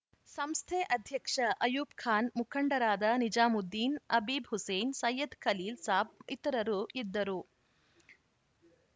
ಸಂಸ್ಥೆ ಅಧ್ಯಕ್ಷ ಅಯೂಬ್‌ ಖಾನ್‌ ಮುಖಂಡರಾದ ನಿಜಾಮುದ್ದೀನ್‌ ಅಬೀದ್‌ ಹುಸೇನ್‌ ಸೈಯದ್‌ ಖಲೀಲ್‌ ಸಾಬ್‌ ಇತರರು ಇದ್ದರು